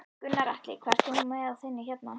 Gunnar Atli: Hvað ert þú með á þinni hérna?